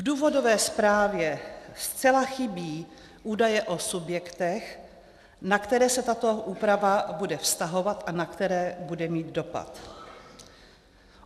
V důvodové zprávě zcela chybí údaje o subjektech, na které se tato úprava bude vztahovat a na které bude mít dopad.